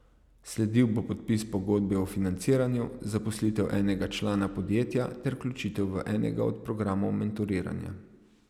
Sledil bo podpis pogodbe o financiranju, zaposlitev enega člana podjetja ter vključitev v enega od programov mentoriranja.